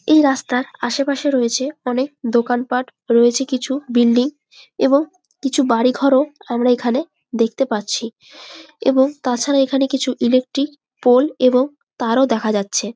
এই রাস্তার আশেপাশে রয়েছে অনেক দোকান পাঠ। রয়েছে কিছু বিল্ডিং এবং কিছু বাড়ি ঘরও আমরা এখানে দেখতে পাচ্ছি এবং তাছাড়া এখানে কিছু ইলেক্ট্রিক পোল এবং তারও দেখা যাচ্ছে।